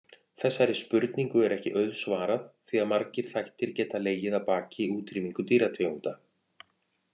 Þessari spurningu er ekki auðsvarað því að margir þættir geta legið að baki útrýmingu dýrategunda.